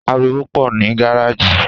Àrìwó pọ ni gàràjí